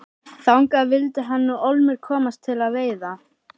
Þangað vildi hann nú ólmur komast til að veiða.